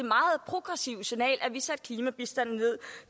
meget progressive signal at vi ville sætte klimabistanden ned